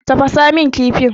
Tafasa min kifin.